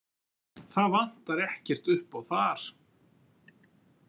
Það vantar ekkert uppá þar.